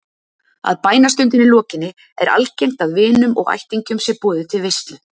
Að bænastundinni lokinni er algengt að vinum og ættingjum sé boðið til veislu.